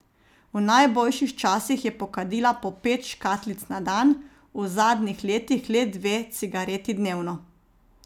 V najboljših časih je pokadila po pet škatlic na dan, v zadnjih letih le dve cigareti dnevno.